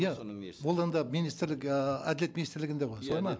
иә ол енді министрлік ыыы әділет министрлігінде ғой